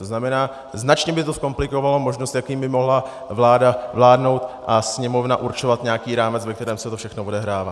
To znamená, značně by to zkomplikovalo možnost, jak by mohla vláda vládnout a Sněmovna určovat nějaký rámec, ve kterém se to všechno odehrává.